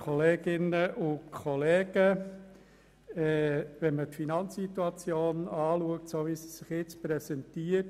Im Budgetjahr 2018 werden wir im Finanzierungssaldo ein Plus von 52 Mio. Franken haben.